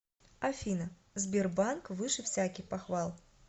афина сбербанк выше всяких похвал